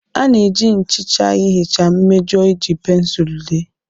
A na-eji nchicha ihicha mmejọ e ji pensụl dee